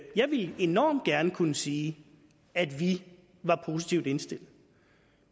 jeg ville enormt gerne kunne sige at vi er positivt indstillet